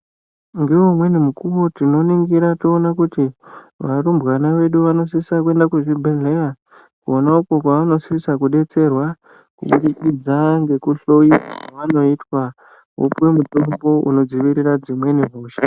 Ngeumweni mukuwo tinoningira toona kuti varumbwana vedu vanosisa kuenda kuzvibhedhleya, kona uko kwavanosisa kudetserwa kubudikidza ngekuhloyiwa kwavanoitwa, vopuwe mutombo unodzivirira dzimweni hosha.